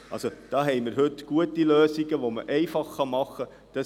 Also: Da haben wir heute gute Lösungen, die man einfach machen kann.